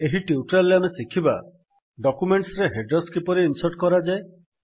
ଏହି ଟ୍ୟୁଟୋରିଆଲ୍ ରେ ଆମେ ଶିଖିବା ଡକ୍ୟୁମେଣ୍ଟ୍ସରେ ହେଡର୍ସ କିପରି ଇନ୍ସର୍ଟ କରାଯାଏ